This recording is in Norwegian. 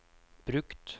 brukt